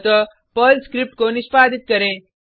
अतः Perl script को निष्पादित करें